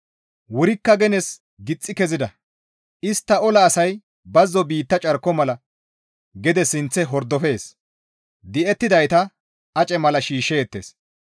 Wurikka genes gixxi kezida; istta ola asay bazzo biitta carko mala gede sinththe hordofees. Di7ettidayta ace mala shiishshees.